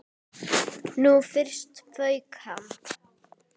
Nú fyrst fauk í hann.